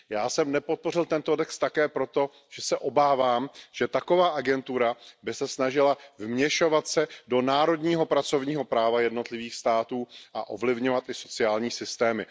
Já jsem nepodpořil tento text také proto, že se obávám, že taková agentura by se snažila vměšovat se do národního pracovního práva jednotlivých států a ovlivňovat i sociální systémy.